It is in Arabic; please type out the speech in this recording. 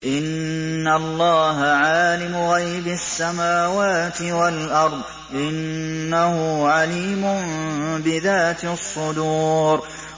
إِنَّ اللَّهَ عَالِمُ غَيْبِ السَّمَاوَاتِ وَالْأَرْضِ ۚ إِنَّهُ عَلِيمٌ بِذَاتِ الصُّدُورِ